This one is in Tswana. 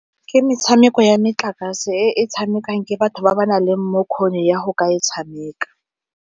Ke metshameko ya metlakase e e tshamekang ke batho ba ba nang le bokgoni ya go ka e tshameka.